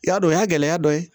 I y'a dɔn o y'a gɛlɛya dɔ ye